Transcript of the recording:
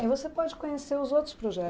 E você pode conhecer os outros